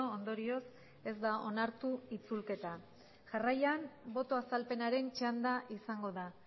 ondorioz ez da onartu itzulketa jarraian boto azalpenaren txanda izango da